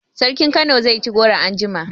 Sarkin Kano zai ci goro anjima